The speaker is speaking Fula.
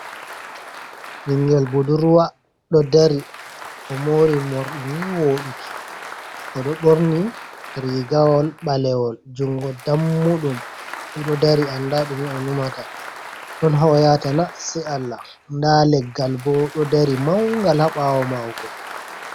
Ɓingel budurwa ɗo dari o mori morɗini woɗuki, oɗo ɓorni rigawol ɓalewol jungo dammuɗum, oɗo dari anda ɗume o numata ɗon ha oyata na sei allah, nda leggal bo ɗo dari mangal haɓawo mako.